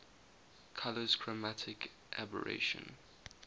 colours chromatic aberration